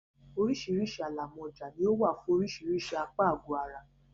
Oríṣìíríṣìí alámọ̀já ni ó wà fún oríṣìíríṣìí apá àgọ̀ ara.